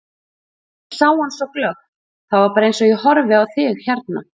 Ég sá hann svo glöggt, það var bara eins og ég horfi á þig hérna.